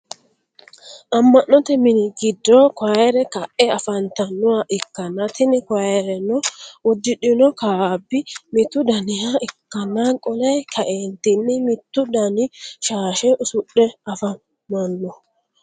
ama'note minni giddo kuayire ka'e afanitannoha ikanna tinni kuayirenno udidhinno kaabi mittu daniha ikanna qolle ka'eenitini mittu danni shaashe usudhe afamanno.